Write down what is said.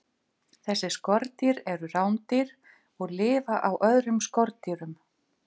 Þessi skordýr eru rándýr og lifa á öðrum skordýrum.